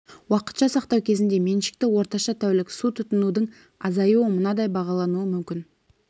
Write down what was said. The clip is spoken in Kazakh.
уақытша сақтау кезінде меншікті орташа тәулік су тұтынудың азаюы мынадай бағалануы мүмкін